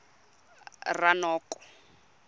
ranoko